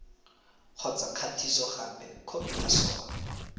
kgotsa kgatisogape khopi ya sona